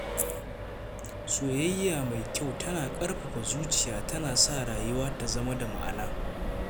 Soyayya mai kyau tana ƙarfafa zuciya, tana sa rayuwa ta zama da ma’ana.